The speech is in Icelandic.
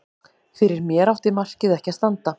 Fyrir mér átti markið ekki að standa.